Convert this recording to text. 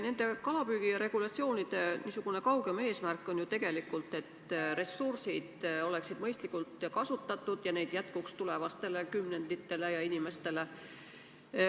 Nende kalapüügiregulatsioonide kaugem eesmärk on ju tegelikult see, et ressursid oleksid mõistlikult kasutatud ja neid jätkuks tulevastele kümnenditele ja inimestele.